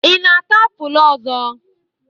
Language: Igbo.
Ị na-ata apụl ọzọ?